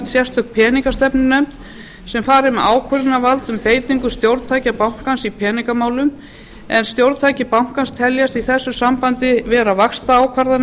sérstök peningastefn unefnd sem fari með ákvörðunarvald um beitingu stjórntækja bankans í peningamálum en stjórntæki bankans teljast í þessu sambandi vera vaxtaákvarðanir